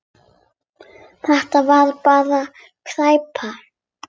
Þetta var bara skræpa.